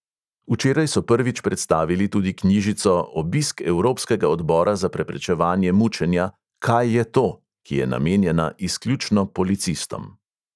Včeraj so prvič predstavili tudi knjižico obisk evropskega odbora za preprečevanje mučenja "kaj je to?", ki je namenjena izključno policistom.